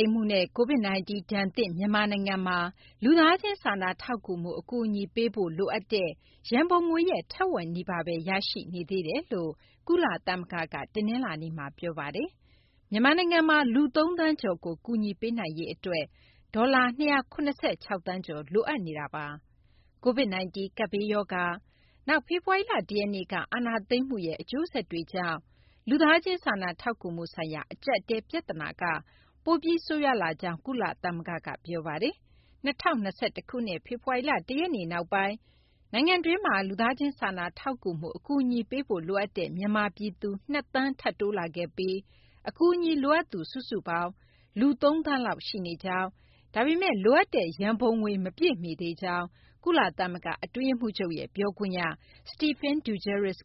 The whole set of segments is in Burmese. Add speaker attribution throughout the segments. Speaker 1: ိမ်းမှုနဲ့ Covid-19 ဒဏ်သင့် မြန်မာနိုင်ငံမှာ လူသားချင်းစာနာထောက်ကူမှု အကူအညီ ပေးဖို့ လိုအပ်တဲ့ ရန်ပုံငွေရဲ့ ထက်ဝက်နီးပါးဘဲ ရရှိနေသေးကြောင်း ကုလသမဂ္ဂက တနလာၤနေ့မှာ ပြောပါတယ်။ မြန်မာနိုင်ငံမှာ လူ ၃ သန်းကျော်ကို ကူညီပေးနိုင်ရေး အတွက် ဒေါ်လာ ၂၇၆ သန်းကျော် လိုအပ်နေတာပါ။ မသိင်္ဂ ီထိုက် စုစည်းတင်ပြပေးပါမယ်။ မြန်မာနိုင်ငံမှာ Covid-19 ကပ်ဘေးရောဂါ၊ နောက် ဖေဖော်ဝါရီလ ၁ ရက်နေ့က အာဏာသိမ်းမှုရဲ့ အကျိုးဆက်တွေကြောင့် လူသားချင်းစာနာ ထောက်ကူမှုဆိုင်ရာ အကြပ်အတည်း ပြဿနာက ပိုပြီး ဆိုးရွားလာကြောင်း ကုလသမဂ္ဂက ပြောပါတယ်။ ၂၀၂၁ ခုနှစ် ဖေဖော်ဝါရီလ ၁ ရက်နေ့ နောက်ပိုင်း နိုင်ငံတွင်းမှာ လူသားချင်း စာနာထောက်ကူမှု အကူအညီ ပေးဖို့ လိုအပ်တဲ့ မြန်မာ ပြည်သူ ၂ သန်း ထပ်တိုးလာခဲ့ပြီး အကူအညီ လိုအပ်သူ စုစုပေါင်း လူ ၃ သန်းလောက် ရှိနေကြောင်း၊ ဒါပေမယ့် လိုအပ်တဲ့ ရန်ပုံငွေ မပြည့်မီသေးကြောင်း ကုလသမဂ္ဂ အတွင်းရေးမှူးချုပ်ရဲ့ ပြောခွင့်ရ Stephane Dujarric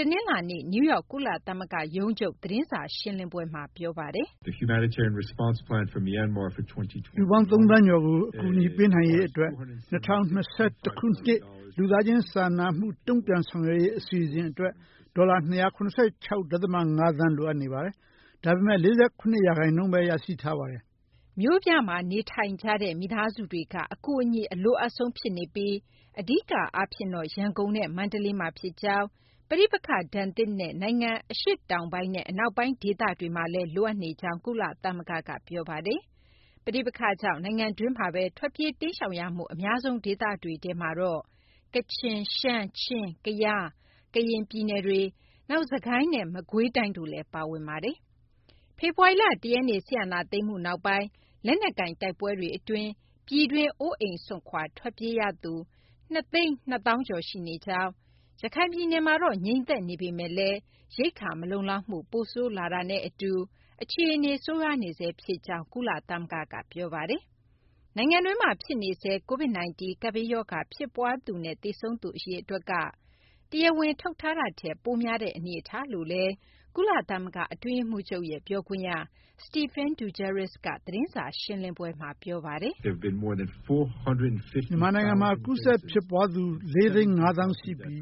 Speaker 1: က တနလာၤနေ့ နယူးယောက် ကုလသမဂ္ဂ ရုံးချုပ် သတင်းစာ ရှင်းလင်းပွဲမှာ ပြောပါတယ်။
Speaker 2: " လူပေါင်း ၃ သန်းကျော်ကို ကူညီပေးနိုင်ရေး အတွက် ၂၀၂၁ ခုနှစ် လူသားချင်းစာနာမှု တုံ့ပြန်ဆောင်ရွက်ရေး အစီအစဉ် အတွက် ဒေါ်လာ ၂၇၆ ဒသမ ၅ သန်း လိုအပ်နေပါတယ်။ ဒါပေမယ့် ၄၇ ရာခိုင်နှုန်းဘဲ ရရှိထားပါတယ်။
Speaker 1: " မြို့ပြမှာ နေထိုင်ကြတဲ့ မိသားစုတွေက အကူအညီ အလိုအပ်ဆုံး ဖြစ်နေပြီး အဓိက အားဖြင့်တော့ ရန်ကုန်နဲ့ မန္တလေးမှာ ဖြစ်ကြောင်း၊ ပဋိပက္ခဒဏ်သင့်တဲ့ နိုင်ငံ အရှေ့တောင်ပိုင်းနဲ့ အနောက်ပိုင်း ဒေသတွေမှာလည်း လိုအပ်နေကြောင်း ကုလသမဂ္ဂက ပြောပါတယ်။ ပဋိပက္ခကြောင့် နိုင်ငံတွင်းမှာဘဲ ထွက်ပြေး တိမ်းရှောင်ရမှု အများဆုံး ဒေသတွေထဲမှာတော့ ကချင်၊ ရှမ်း၊ ချင်း၊ ကယား၊ ကရင် ပြည်နယ်တွေ၊ နောက် စစ်ကိုင်းနဲ့ မကွေးတိုင်း တို့ ပါဝင်ပါတယ်။ ဖေဖော်ဝါရီလ ၁ ရက်နေ့ စစ်အာဏာသိမ်းမှု နောက်ပိုင်း လက်နက်ကိုင် တိုက်ပွဲတွေ အတွင်း ပြည်တွင်း အိုးအိမ်စွန့်ခွာ ထွက်ပြေးရသူ ၂၂၀,၀၀၀ ကျော် ရှိနေကြောင်း ရခိုင်ပြည်နယ်မှာ ငြိမ်သက်နေပေမယ့်လည်း ရိက္ခာမလုံလောက်မှု ပိုဆိုးလာတာနဲ့ အတူ အခြေအနေ ဆိုးရွားနေဆဲ ဖြစ်ကြောင်းလည်း ကုလသမဂ္ဂက ပြောပါတယ်။ နိုင်ငံတွင်းမှာ ဖြစ်နေဆဲ Covid-19 ကပ်ဘေးရောဂါ ဖြစ်ပွားသူနဲ့ သေဆုံးသူ အရေအတွက်က တရားဝင် ထုတ်တာထက် ပိုများတဲ့ အနေအထားလို့လည်း ကုလသမဂ္ဂ အတွင်းရေးမှူးချုပ်ရဲ့ ပြောခွင့်ရ Stephane Dujarric က သတင်းစာ ရှင်းလင်းပွဲမှာ ပြောပါတယ်။ "
Speaker 2: မြန်မာနိုင်ငံမှာ ကူးစက် ဖြစ်ပွားသူ ၄၅၀,၀၀၀ ဦး ရှိပြီး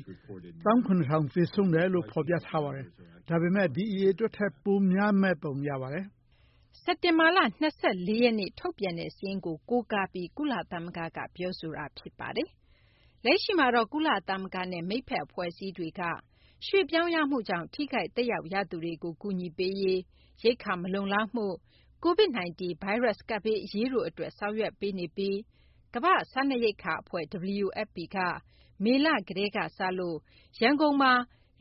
Speaker 2: ၁၇,၀၀၀ သေဆုံးတယ်လို့ ဖော်ပြပါတယ်။ ဒါပေမယ့် ဒီအရေတွက်ထက် ပိုပြီးများပုံ ရပါတယ်
Speaker 1: ။ " စက်တင်ဘာလ ၂၄ ရက်နေ့က ထုတ်ပြန်တဲ့ စာရင်းကို ကိုးကားပြီး ကုလသမဂ္ဂက ပြောဆိုခဲ့တာပါ။ လက်ရှိမှာတော့ ကုလသမဂ္ဂနဲ့ မိတ်ဖက် အဖွဲ့အစည်းတွေက ရွှေ့ပြောင်းရမှုကြောင့် ထိခိုက် သက်ရောက်ရသူတွေကို ကူညီပေးရေး၊ ရိက္ခာ မလုံလောက်မှုနဲ့ Covid-19 ဗိုင်းရပ်စ် ကပ်ဘေး အရေးတို့ အတွက် ဆောင်ရွက်ပေးနေပြီး ကမ ္ဘာ့စားနပ်ရိက္ခာ အဖွဲ့ WFP က မေလ ကတည်းက စလို့ ရန်ကုန်မှာ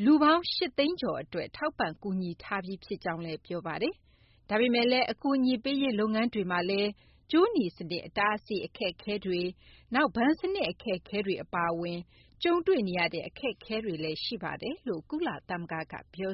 Speaker 1: လူပေါင်း ၈၀၀,၀၀၀ ကျော် အတွက် ကူညီထောက်ပံ့ခဲ့ကြောင်းလည်း ပြောပါတယ်။ ဒါပေမယ့်လည်း အကူအညီပေးရေး လုပ်ငန်းတွေမှာလည်း ကြိုးနီစနစ် အတားအဆီး အခက်အခဲတွေ၊ နောက် ဘဏ်စနစ် အခက်အခဲတွေ အပါအဝင် အခက်အခဲတွေ ကြုံတွေ့နေရကြောင်းလည်း ကုလသမဂ္ဂက ပြော